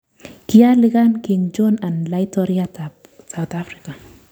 Kiialikan King Jong un Laitoriat ap South Afrika